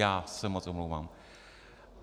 Já se moc omlouvám.